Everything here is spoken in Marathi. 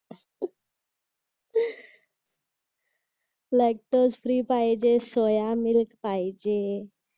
लॅक्टस्प्री पाहिजे सोयामिल्क पाहिजे